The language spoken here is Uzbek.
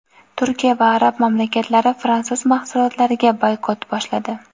Turkiya va arab mamlakatlari fransuz mahsulotlariga boykot boshladi.